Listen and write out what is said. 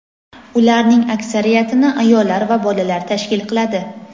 Ularning aksariyatini ayollar va bolalar tashkil qiladi.